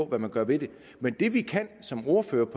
hvad man gør ved det det vi som ordførere